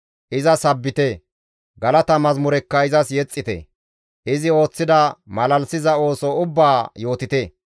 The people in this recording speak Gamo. Iza sabbite; galata mazamurekka izas yexxite; izi ooththida malalisiza ooso ubbaa yootite.